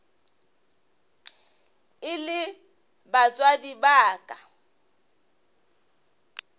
e le batswadi ba ka